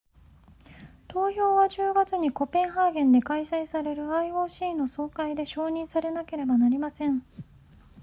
投票は10月にコペンハーゲンで開催される ioc の総会で承認されなければなりません